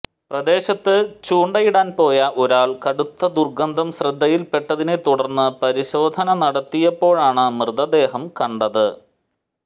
പ്രദേശത്ത് ചൂണ്ടയിടാൻ പോയ ഒരാൾ കടുത്ത ദുർഗന്ധം ശ്രദ്ധയിൽ പെട്ടതിനെ തുടർന്ന് പരിശോധന നടത്തിയപ്പോഴാണ് മൃതദേഹം കണ്ടത്